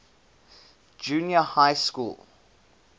junior high school